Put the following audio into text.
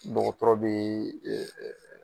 Dɔgɔtɔrɔ be yen.